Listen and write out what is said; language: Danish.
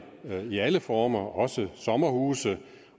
i alle former også sommerhuse